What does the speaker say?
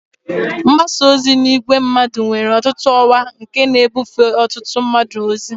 Mgbasa ozi n'ìgwè mmadụ nwere ọtụtụ ọwa nke na-ebufe ọtụtụ mmadụ ozi.